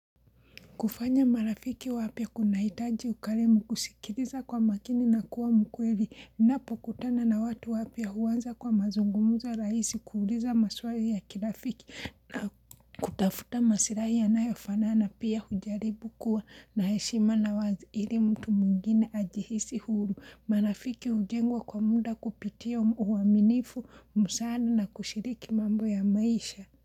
Kufanya marafiki wapya kunahitaji ukarimu kusikiliza kwa makini na kuwa mkweli, napokutana na watu wapya huanza kwa mazungumzo rahisi kuuliza maswali ya kirafiki na kutafuta maslahi yanayofanana pia hujaribu kuwa na heshima na wazi ili mtu mwingine ajihisi huru. Marafiki ujengwa kwa muda kupitia uaminifu, musana na kushiriki mambo ya maisha.